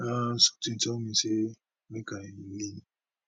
um sometin tell me say make i lean